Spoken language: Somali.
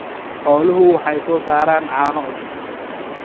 Xooluhu waxay soo saaraan caano cusub.